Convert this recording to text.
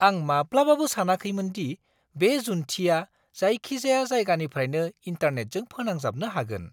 आं माब्लाबाबो सानाखैमोन दि बे जुन्थिआ जायखिजाया जायगानिफ्रायनो इन्टारनेटजों फोनांजाबनो हागोन!